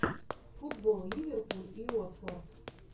футбол ливерпуль и уотфорд